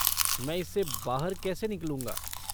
मैं इससे बाहर कैसे निकलूंगा?